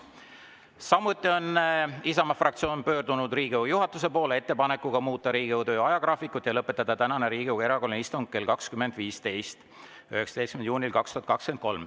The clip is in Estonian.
Samuti on Isamaa fraktsioon pöördunud Riigikogu juhatuse poole ettepanekuga muuta Riigikogu töö ajagraafikut ja lõpetada tänane Riigikogu erakorraline istung 19. juunil 2023 kell 20.15.